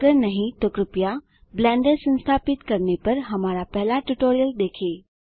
अगर नहीं तो कृपया ब्लेंडर संस्थापित करने पर हमारा पहला ट्यूटोरियल देखें